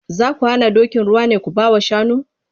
Za ku hana dokin ruwa ne ku ba wa shanu?